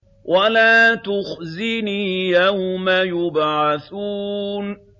وَلَا تُخْزِنِي يَوْمَ يُبْعَثُونَ